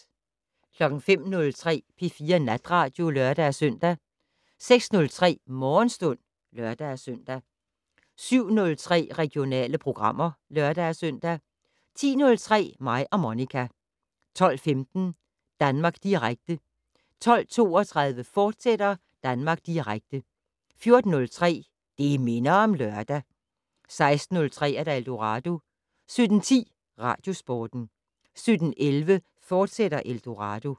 05:03: P4 Natradio (lør-søn) 06:03: Morgenstund (lør-søn) 07:03: Regionale programmer (lør-søn) 10:03: Mig og Monica 12:15: Danmark Direkte 12:32: Danmark Direkte, fortsat 14:03: Det' Minder om Lørdag 16:03: Eldorado 17:10: Radiosporten 17:11: Eldorado, fortsat